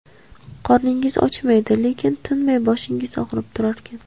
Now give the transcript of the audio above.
Qorningiz ochmaydi, lekin tinmay boshingiz og‘rib turarkan.